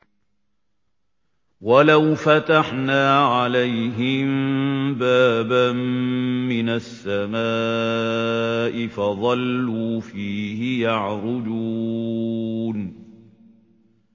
وَلَوْ فَتَحْنَا عَلَيْهِم بَابًا مِّنَ السَّمَاءِ فَظَلُّوا فِيهِ يَعْرُجُونَ